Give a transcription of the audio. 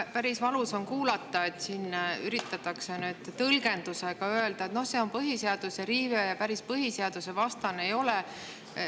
Noh, päris valus on kuulata, et siin üritatakse nüüd tõlgendamise abil öelda, et see on põhiseaduse riive ja päris põhiseadusvastasust ei ole.